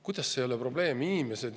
Kuidas see ei ole probleem?